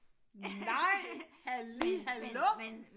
Nej halli hallo